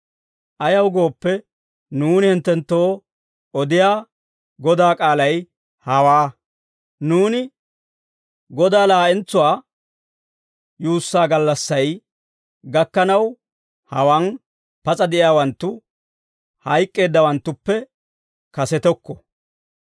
Ayaw gooppe, nuuni hinttenttoo odiyaa Godaa k'aalay hawaa; nuuni, Godaa laa'entsuwaa yuussaa gallassay gakkanaw hawaan pas'a de'iyaawanttu, hayk'k'eeddawanttuppe kasetokko.